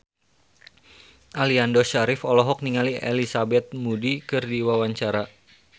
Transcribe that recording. Aliando Syarif olohok ningali Elizabeth Moody keur diwawancara